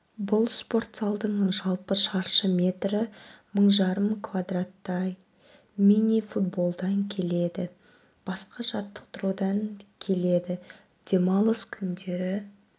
бұл спорт залдың жалпы шаршы метрі мың жарым квадраттай мини-футболдан келеді басқа жаттықтырудан келеді демалыс күндері